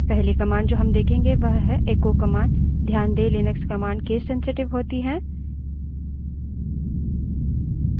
पहली command जो हम देखेंगे वो है एक्को command ध्यान the Linux command case sensitive होती हैं